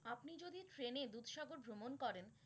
আপনি যদি ট্রেনে দুধসাগর ভ্রমণ করেন।